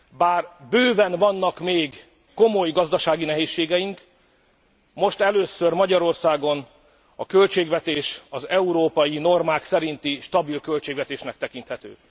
Bár bőven vannak még komoly gazdasági nehézségeink, most először Magyarországon a költségvetés az európai normák szerinti, stabil költségvetésnek tekinthető.